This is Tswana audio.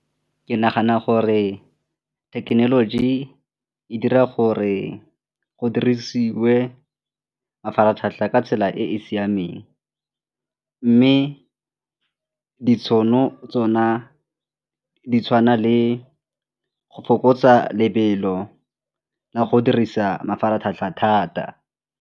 Ke nagana gore technology e dira gore go dirisiwe mafaratlhatlha ka tsela e e siameng mme ditšhono tsona di tshwana le go fokotsa lebelo la go dirisa mafaratlhatlha thata.